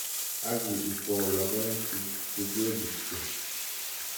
Ak ikwou logoek chegobutyo.